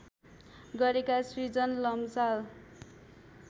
गरेका श्रृजन लम्साल